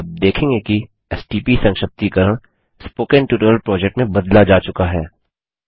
आप देखेंगे कि एसटीपी संक्षिप्तीकरण स्पोकेन ट्यूटोरियल प्रोजेक्ट में बदला जा चुका है